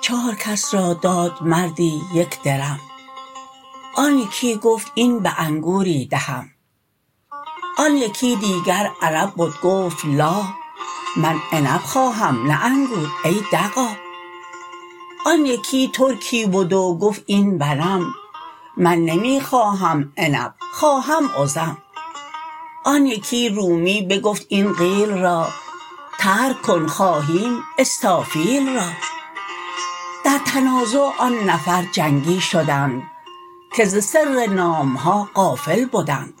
چار کس را داد مردی یک درم آن یکی گفت این به انگوری دهم آن یکی دیگر عرب بد گفت لا من عنب خواهم نه انگور ای دغا آن یکی ترکی بد و گفت این بنم من نمی خواهم عنب خواهم ازم آن یکی رومی بگفت این قیل را ترک کن خواهیم استافیل را در تنازع آن نفر جنگی شدند که ز سر نامها غافل بدند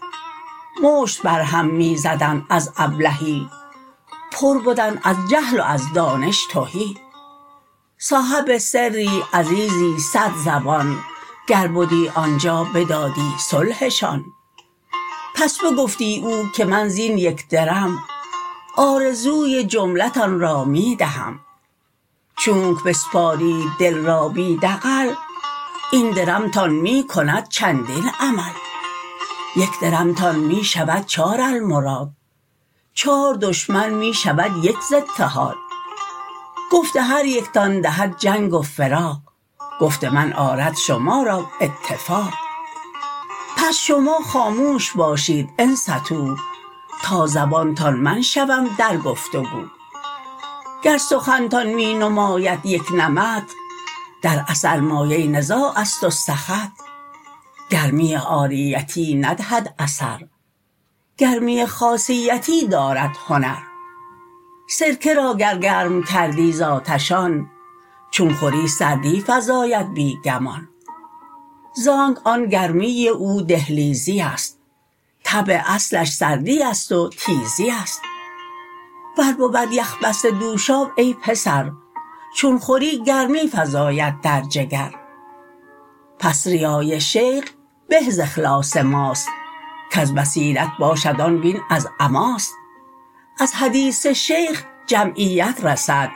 مشت بر هم می زدند از ابلهی پر بدند از جهل و از دانش تهی صاحب سری عزیزی صد زبان گر بدی آنجا بدادی صلحشان پس بگفتی او که من زین یک درم آرزوی جمله تان را می دهم چونک بسپارید دل را بی دغل این درمتان می کند چندین عمل یک درمتان می شود چار المراد چار دشمن می شود یک ز اتحاد گفت هر یکتان دهد جنگ و فراق گفت من آرد شما را اتفاق پس شما خاموش باشید انصتوا تا زبانتان من شوم در گفت و گو گر سخنتان می نماید یک نمط در اثر مایه نزاعست و سخط گرمی عاریتی ندهد اثر گرمی خاصیتی دارد هنر سرکه را گر گرم کردی ز آتش آن چون خوری سردی فزاید بی گمان زانک آن گرمی او دهلیزیست طبع اصلش سردیست و تیزیست ور بود یخ بسته دوشاب ای پسر چون خوری گرمی فزاید در جگر پس ریای شیخ به ز اخلاص ماست کز بصیرت باشد آن وین از عماست از حدیث شیخ جمعیت رسد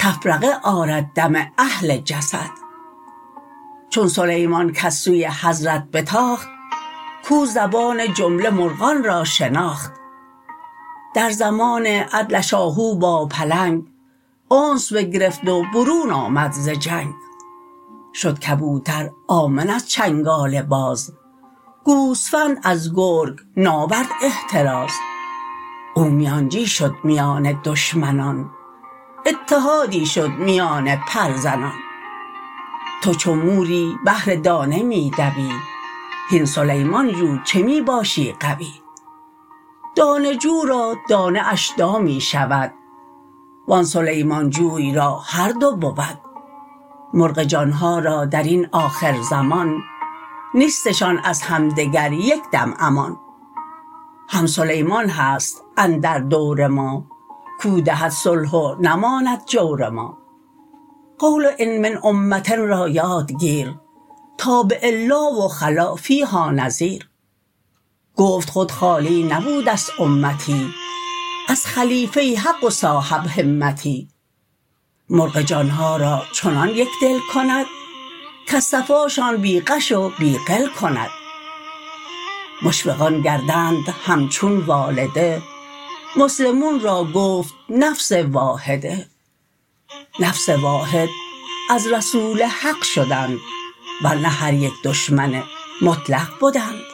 تفرقه آرد دم اهل جسد چون سلیمان کز سوی حضرت بتاخت کو زبان جمله مرغان را شناخت در زمان عدلش آهو با پلنگ انس بگرفت و برون آمد ز جنگ شد کبوتر آمن از چنگال باز گوسفند از گرگ ناورد احتراز او میانجی شد میان دشمنان اتحادی شد میان پرزنان تو چو موری بهر دانه می دوی هین سلیمان جو چه می باشی غوی دانه جو را دانه اش دامی شود و آن سلیمان جوی را هر دو بود مرغ جانها را درین آخر زمان نیستشان از همدگر یک دم امان هم سلیمان هست اندر دور ما کو دهد صلح و نماند جور ما قول ان من امة را یاد گیر تا به الا و خلا فیها نذیر گفت خود خالی نبودست امتی از خلیفه حق و صاحب همتی مرغ جانها را چنان یکدل کند کز صفاشان بی غش و بی غل کند مشفقان گردند همچون والده مسلمون را گفت نفس واحده نفس واحد از رسول حق شدند ور نه هر یک دشمن مطلق بدند